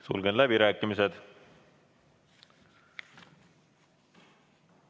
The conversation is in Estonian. Sulgen läbirääkimised.